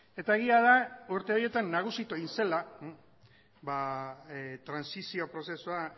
eta egia da urte horietan nagusitu egin zela trantsizio prozesua